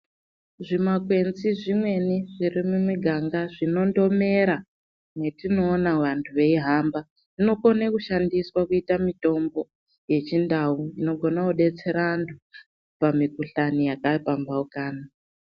Zvimakwenzi zvimweni zviri mumuganga zvindondomera metinoona vantu yeyi hamba inokone kushandiswa kuita mutombo wechi ndau inogona kudetsera antu pamukuhlani yaka pambaukana.